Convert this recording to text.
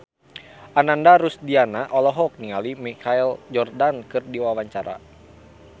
Ananda Rusdiana olohok ningali Michael Jordan keur diwawancara